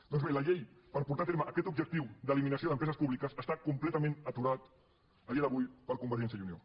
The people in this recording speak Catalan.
doncs bé la llei per portar a terme aquest objectiu d’eliminació d’empreses públiques està completament aturat a dia d’avui per convergència i unió